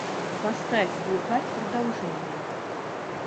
поставь глухарь продолжение